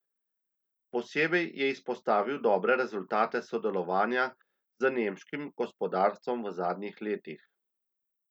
Posebej je izpostavil dobre rezultate sodelovanja z nemškim gospodarstvom v zadnjih letih.